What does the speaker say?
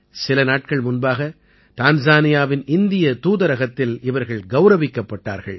சில நாட்கள் முன்பாக டான்ஸானியாவின் இந்திய தூதரகத்தில் இவர்கள் கௌரவிக்கப்பட்டார்கள்